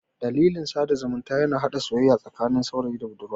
Dandalin sada zumunta yana hada soyayya tsakanin saurayi da budurwa.